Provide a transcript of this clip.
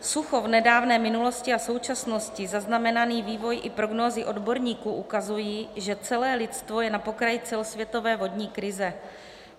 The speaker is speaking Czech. Sucho v nedávné minulosti a současnosti, zaznamenaný vývoj i prognózy odborníků ukazují, že celé lidstvo je na pokraji celosvětové vodní krize.